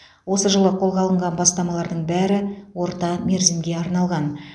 осы жылы қолға алынған бастамалардың бәрі орта мерзімге арналған